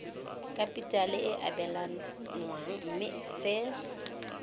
kapitale e abelanwang mme se